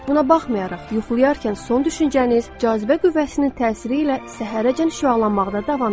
Buna baxmayaraq, yuxulayarkən son düşüncəniz cazibə qüvvəsinin təsiri ilə səhərədək şüalanmaqda davam edir.